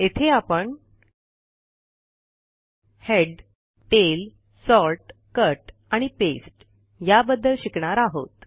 येथे आपण head tail sort cut आणि पास्ते या बद्दल शिकणार आहोत